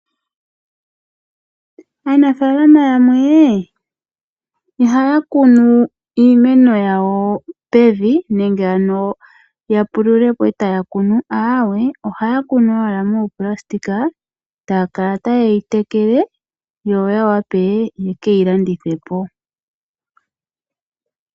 Aanafaalama yamwe ihaya kunu iimeno yawo pevi nenge ano ya pulule po e taya kunu, aawe, ohaya kunu owala muunayilona, taa kala taye yi tekele, yo ya wape ye ke yi landithe po.